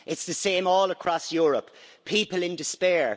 It's the same all across Europe people in despair.